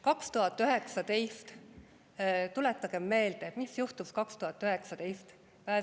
2019 – tuletagem meelde, mis juhtus 2019.